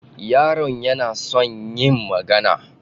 Yaron yana son yin magana.